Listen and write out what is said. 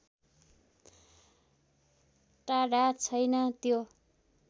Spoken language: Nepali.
टाढा छैन त्यो